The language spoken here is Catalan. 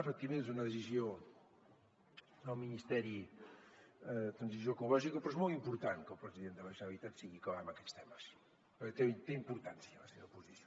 efectivament és una decisió del ministeri de transició ecològica però és molt important que el president de la generalitat sigui clar en aquests temes perquè té importància la seva posició